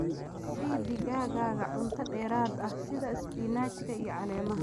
Sii digaaggaaga cunto dheeraad ah sida isbinaajka iyo caleemaha.